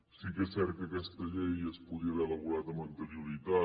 sí que és cert que aquesta llei es podria haver elaborat amb anterioritat